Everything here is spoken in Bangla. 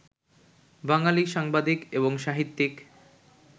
বাঙালি সাংবাদিক এবং সাহিত্যিক